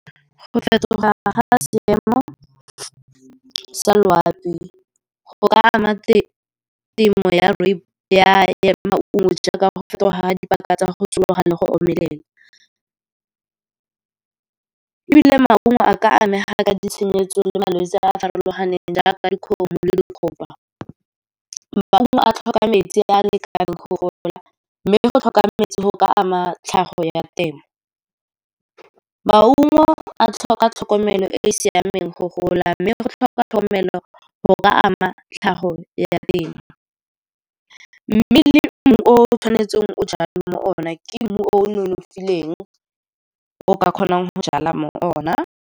Go fetoga ga seemo sa loapi go ka ama temo ya maungo, jaaka go fetoga ga dipaka tsa go tsoga le go omelela. Ebile maungo a ka amega ka ditshenyetso le malwetse a a farologaneng, jaaka dikgomo le . Maungo a tlhoka metsi a lekaneng go gola, mme le go tlhoka metsi go ka ama tlhago ya temo. Maungo a tlhoka tlhokomelo e e siameng go gola, mme go tlhoka tlhokomelo go ka ama tlhago ya teng. Mme le mmu o tshwanetseng o jale mo ona ke mmu o nonofileng, o ka kgonang go jala mo ona.